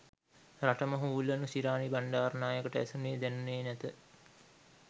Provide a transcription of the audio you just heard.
රටම හූල්ලනු ශිරාණි බණ්ඩාරනායකට ඇසුණේ දැනුණේ නැත